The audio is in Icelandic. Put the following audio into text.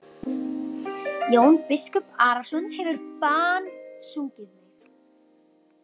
Jón biskup Arason hefur bannsungið mig.